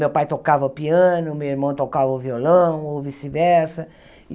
Meu pai tocava o piano, meu irmão tocava o violão, ou vice-versa.